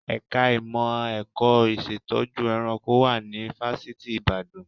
Ẹ̀ka ìmọ̀ ẹ̀kọ́ ìṣẹ̀tọ́jú ẹranko wà ní Fáṣítì Ibadan